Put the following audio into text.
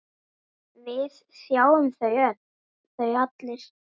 Við þáðum þau allir.